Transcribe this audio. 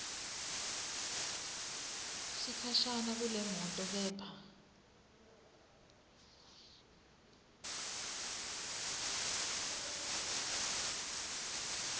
sikhashana kulemoto kepha